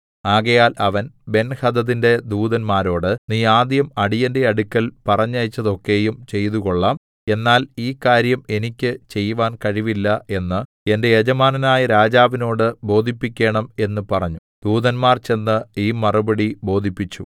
ആകയാൽ അവൻ ബെൻഹദദിന്റെ ദൂതന്മാരോട് നീ ആദ്യം അടിയന്റെ അടുക്കൽ പറഞ്ഞയച്ചതൊക്കെയും ചെയ്തുകൊള്ളാം എന്നാൽ ഈ കാര്യം എനിക്ക് ചെയ്‌വാൻ കഴിവില്ല എന്ന് എന്റെ യജമാനനായ രാജാവിനോട് ബോധിപ്പിക്കേണം എന്ന് പറഞ്ഞു ദൂതന്മാർ ചെന്ന് ഈ മറുപടി ബോധിപ്പിച്ചു